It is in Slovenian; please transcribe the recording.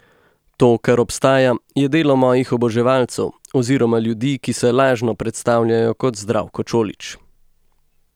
To, kar obstaja, je delo mojih oboževalcev oziroma ljudi, ki se lažno predstavljajo kot Zdravko Čolić.